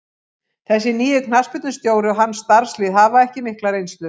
Þessi nýi knattspyrnustjóri og hans starfslið hafa ekki mikla reynslu.